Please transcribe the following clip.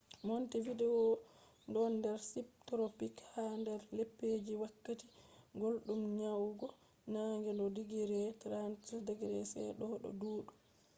montevideo don der subtropics; har der lebbiji je wakkati guldum nyadugo nange do digiri 30°c doo do duudi